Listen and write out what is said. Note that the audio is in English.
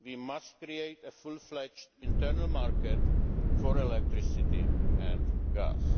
We must create a fully fledged internal market for electricity